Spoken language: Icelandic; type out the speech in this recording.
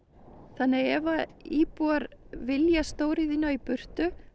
þannig að ef íbúar vilja stóriðjuna í burtu